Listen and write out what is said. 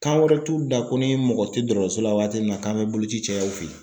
Kan wɛrɛ t'u da ko ni mɔgɔ tɛ dɔrɔtɔrɔso la waati min na k'an bɛ bolo ci caya u fɛ ye.